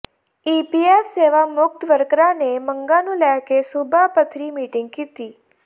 EPF ਸੇਵਾਮੁਕਤ ਵਰਕਰਾਂ ਨੇ ਮੰਗਾਂ ਨੂੰ ਲੈਕੇ ਸੂਬਾ ਪੱਧਰੀ ਮੀਟਿੰਗ ਕੀਤੀ